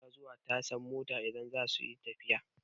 Mutane suna zuwa tashan mota idan za suyi tafiya.